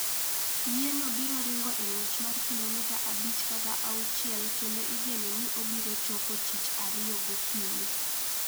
Yieno biro ringo e ng'wech mar kilomita 5 kata 6 kendo igeno ni obiro chopo Tich Ariyo gokinyi.